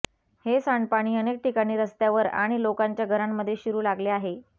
हे सांडपाणी अनेक ठिकाणी रस्त्यावर आणि लोकांच्या घरांमध्ये शिरू लागले आहे